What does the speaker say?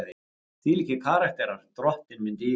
Þvílíkir karakterar, drottinn minn dýri!